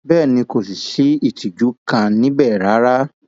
bẹẹ ni kò sí ìtìjú kan níbẹ rárá